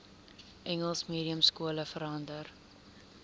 engels mediumskole verander